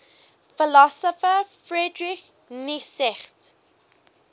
philosopher friedrich nietzsche